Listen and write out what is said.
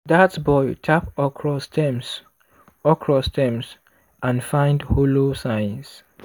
dat boy tap okra stems okra stems and find hollow signs.